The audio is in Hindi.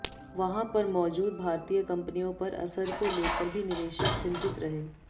वहां पर मौजूद भारतीय कंपनियों पर असर को लेकर भी निवेशक चिंतित रहे